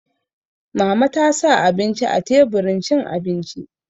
Mama ta sa abinci a teburin cin abinci